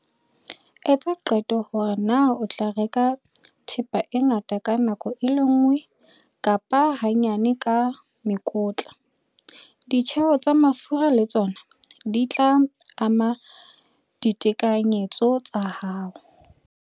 Etsa qeto hore na o tla reka thepa e ngata ka nako e le nngwe kapa hanyane ka mekotla. Ditjeo tsa mafura le tsona di tla ama ditekanyetso tsa hao.